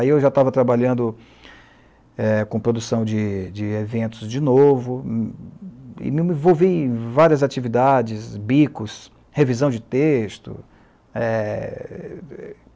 Aí eu já estava trabalhando é, com de de produção de eventos de de novo e me envolvi em várias atividades, bicos, revisão de texto. É...